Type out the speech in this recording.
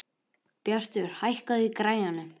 Bjartur, hækkaðu í græjunum.